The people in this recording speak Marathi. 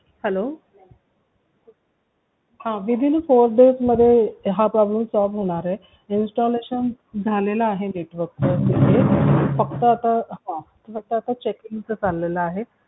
hello हा within a four day मध्ये हा problem solve होणार आहे installation झालेलं आहे network च फक्त आता checking च चालेल आहे